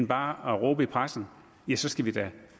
bare at råbe i pressen ja så skal vi da